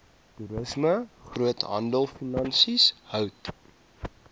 toerisme groothandelfinansies hout